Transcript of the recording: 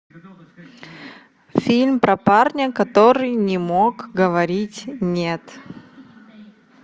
фильм про парня который не мог говорить нет